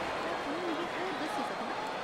क्या तूं मिगी होर दस्सी सकनां ?